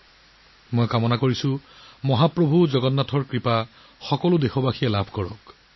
মই আশা কৰো যে মহাপ্ৰভু জগন্নাথৰ অনুগ্ৰহ সদায় সকলো দেশবাসীৰ ওপৰত থাকিব